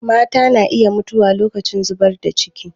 Mata na iya mutuwa lokacin zubar da ciki.